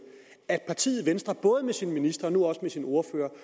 at partiet venstre både med sine ministre og nu også med sin ordfører